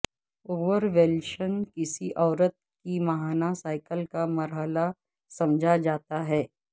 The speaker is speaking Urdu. اوورولشن کسی عورت کی ماہانہ سائیکل کا مرحلہ سمجھا جاتا ہے